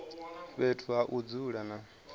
fhethu ha u dzula na